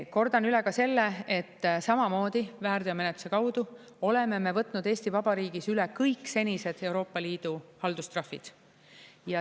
Kordan üle ka selle, et samamoodi väärteomenetluse kaudu oleme me võtnud Eesti Vabariigis üle kõik senised Euroopa Liidu haldustrahvid.